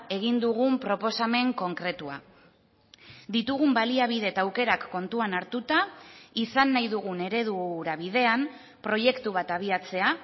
egin dugun proposamen konkretua ditugun baliabide eta aukerak kontuan hartuta izan nahi dugun eredu hura bidean proiektu bat abiatzea